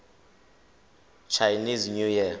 chinese new year